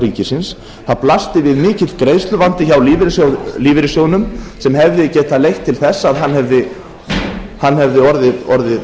ríkisins það blasti við mikill greiðsluvandi hjá lífeyrissjóðnum sem hefði getað leitt til þess að hann hefði orðið